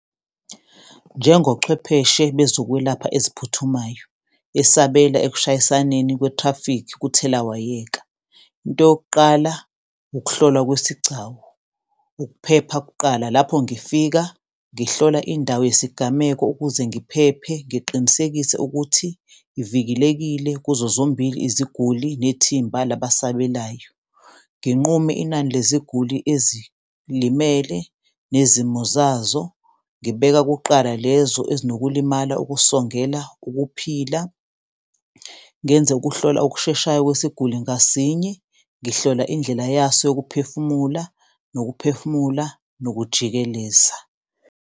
Njengochwepheshe bezokwelapha eziphuthumayo esabela ekushayisaneni kwe-traffic kuthelawayeka, into yokuqala ukuhlolwa kwesigcawu, ukuphepha kuqala lapho ngifika ngihlola indawo yesigameko, ukuze ngiphephe ngiqinisekise ukuthi ivikelekile kuzo zombili iziguli nethimba labasabelayo. Nginqume inani leziguli ezilimele nezimo zazo, ngibeka kuqala lezo ezinokulimala ukusongeleka ukuphila, ngenze ukuhlolwa okusheshayo kwesiguli ngasinye ngihlola indlela yaso yokuphefumula nokuphefumula, nokujikeleza.